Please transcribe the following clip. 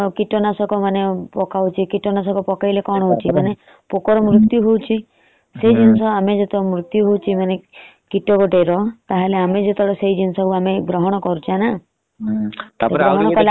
କୀଟନାଶକ ମାନେ କୀଟନାଶକ ପକେଇଲେ କଣ ହାଉଛି। ପୋକ ର ମୁଜରତୟୁ ହଉଛି। ତମେ ମୂର୍ତୁ ହାଉଛି କୀଟ ଗୋଟେ ର